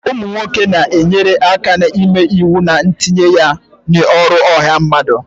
ụmụ nwoke na-enyere aka ịme iwu na itinye ya n'ọrụ ọha mmadụ